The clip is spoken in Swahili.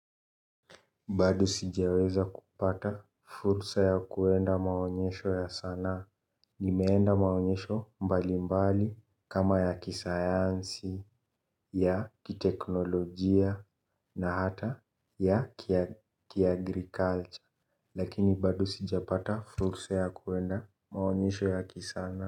Bado sijaweza kupata fursa ya kuenda maonyesho ya sanaa. Nimeenda maonyesho mbalimbali kama ya kisayansi, ya kiteknolojia na hata ya ki agriculture. Lakini bado sija pata fursa ya kwenda maonyesho ya kisanaa.